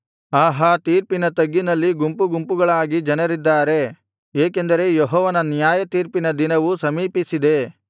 ಆಹಾ ತೀರ್ಪಿನ ತಗ್ಗಿನಲ್ಲಿ ಗುಂಪುಗುಂಪುಗಳಾಗಿ ಜನರಿದ್ದಾರೆ ಏಕೆಂದರೆ ಯೆಹೋವನ ನ್ಯಾಯತೀರ್ಪಿನ ದಿನವು ಸಮೀಪಿಸಿದೆ